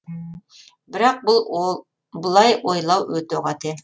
бірақ бұлай ойлау өте қате